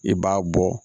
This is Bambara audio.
I b'a bɔ